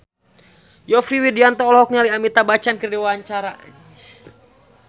Yovie Widianto olohok ningali Amitabh Bachchan keur diwawancara